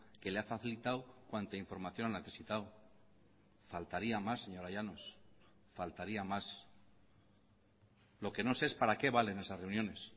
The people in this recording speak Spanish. que le ha facilitado cuanta información ha necesitado faltaría más señora llanos faltaría más lo que no sé es para qué valen esas reuniones